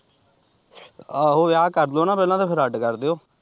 ਆਹੋ ਵਿਆਹ ਕਰ ਦਿਉ ਨਾ ਪਹਿਲਾਂ ਤੇ ਫਿਰ ਅੱਡ ਕਰ ਦਿਉ।